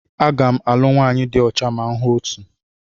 Aga m alụ nwanyị di ocha ma m hụ otu.